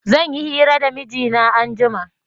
Zan yi hira da mijina anjima